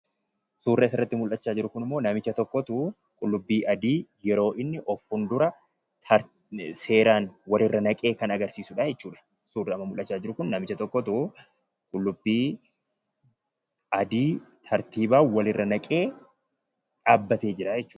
Suurri asirratti mul'achaa jiru Kun immoo, namicha tokkotu qullubbii adii tartiibaan walirra naqee dhaabbatee jiraa jechuudha.